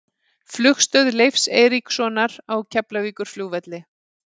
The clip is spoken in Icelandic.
Flugstöð Leifs Eiríkssonar á Keflavíkurflugvelli.